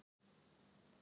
Við verjum Ísafjörð!